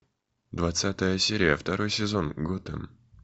двадцатая серия второй сезон готэм